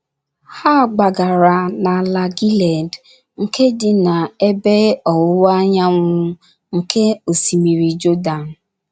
Ha gbagara n’ala Gilied, nke dị n’ebe ọwụwa anyanwụ nke Osimiri Jọdan.